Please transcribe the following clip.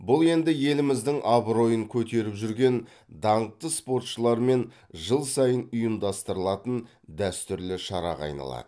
бұл енді еліміздің абыройын көтеріп жүрген даңқты спортшылармен жыл сайын ұйымдастырылатын дәстүрлі шараға айналады